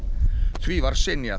því var synjað